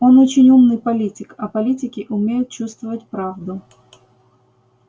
он очень умный политик а политики умеют чувствовать правду